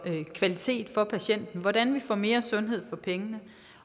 kvalitet for patienten hvordan vi får mere sundhed for pengene